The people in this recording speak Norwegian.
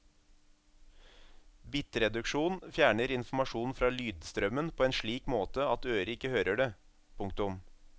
Bitreduksjon fjerner informasjon fra lydstrømmen på en slik måte at øret ikke hører det. punktum